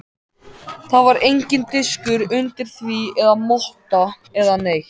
Það var enginn diskur undir því eða motta eða neitt.